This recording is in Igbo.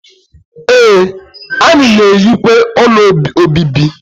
Ee, anyị na-enyekwa ụlọ obibi